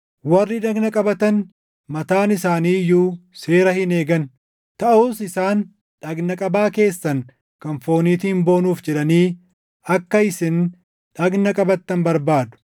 Warri dhagna qabatan mataan isaanii iyyuu seera hin eegan; taʼus isaan dhagna qabaa keessan kan fooniitiin boonuuf jedhanii akka isin dhagna qabattan barbaadu.